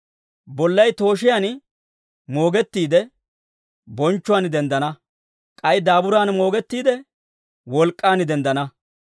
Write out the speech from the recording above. Bollay tooshiyaan moogettiide, bonchchuwaan denddana. K'ay daaburaan moogettiide, wolk'k'aan denddana.